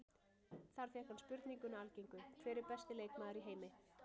Þar fékk hann spurninguna algengu, hver er besti leikmaður í heimi?